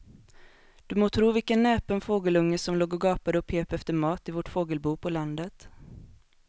Du må tro vilken näpen fågelunge som låg och gapade och pep efter mat i vårt fågelbo på landet.